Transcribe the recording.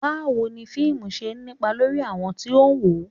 Báwo ni fíìmù ṣe ń nípa lórí àwọn tí ó ń wò ó